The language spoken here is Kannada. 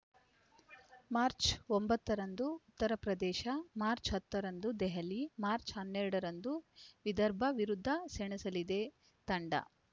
ಮಾರ್ಚ್ ಒಂಬತ್ತರಂದು ಉತ್ತರ ಪ್ರದೇಶ ಮಾರ್ಚ್ ಹತ್ತರಂದು ದೆಹಲಿ ಮಾರ್ಚ್ ಹನ್ನೆರಡರಂದು ವಿದರ್ಭ ವಿರುದ್ಧ ಸೆಣಸಲಿದೆ ತಂಡ